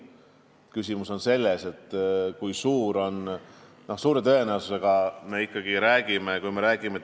Aga küsimus on selles, et kui suure tõenäosusega me täiendavatest sanktsioonidest räägime.